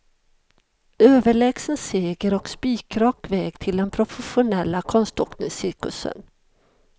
Överlägsen seger och spikrak väg till den profesionella konståkningscirkusen.